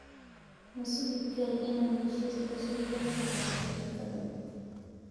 Ma sugi karo inaan heshiis cusub la saxiixdo shirkaddan.